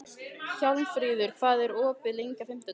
Hjálmfríður, hvað er opið lengi á fimmtudaginn?